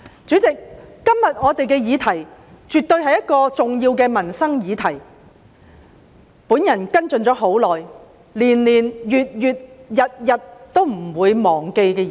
主席，今天的議題絕對是重要的民生議題，也是我跟進已久，年年、月月、日日都不會忘記的議題。